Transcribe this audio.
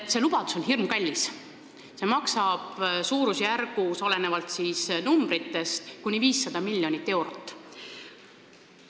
See lubadus on hirmkallis, see maksab suurusjärgus kuni 500 miljonit eurot.